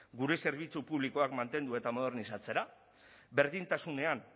gure zerbitzu publikoak mantendu eta modernizatzera berdintasunean